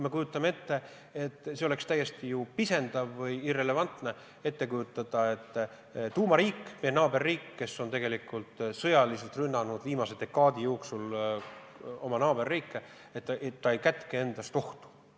Kujutame ette: oleks ju pisendav või irrelevantne ette kujutada, et tuumariik, meie naaberriik, kes on sõjaliselt rünnanud viimase aastakümne jooksul oma naaberriike, ei kätke endas ohtu.